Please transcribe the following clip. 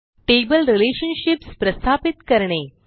table relationships प्रस्थापित करणे